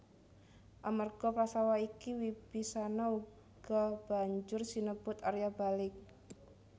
Amarga Prastawa iki Wibisana uga banjur sinebut Arya Balik